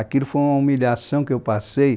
Aquilo foi uma humilhação que eu passei.